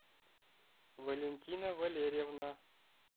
валентина валерьевна